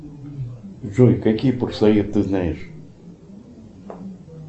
джой какие ты знаешь